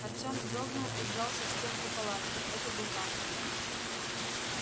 артём вздрогнул и вжался в стенку палатки это был хантер